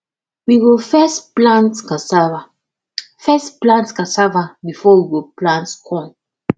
we go first plant casava first plant casava before we plant corn